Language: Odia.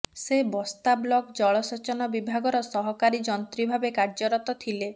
ସେ ବସ୍ତା ବ୍ଲକ ଜଳସେଚନ ବିଭାଗର ସହକାରୀ ଯନ୍ତ୍ରୀ ଭାବେ କାର୍ଯ୍ୟରତ ଥିଲେ